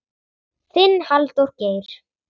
Þinn, Halldór Geir.